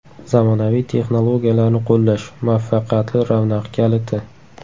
Zamonaviy texnologiyalarni qo‘llash – muvaffaqiyatli ravnaq kaliti.